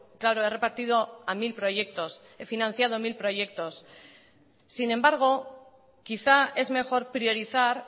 claro he repartido a mil proyectos he financiado mil proyectos sin embargo quizá es mejor priorizar